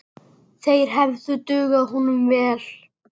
Þeir hefðu dugað honum vel.